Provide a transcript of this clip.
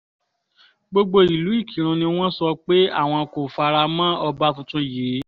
gbogbo ìlú ìkírun ni wọ́n sọ pé àwọn kò fara mọ́ ọba tuntun yìí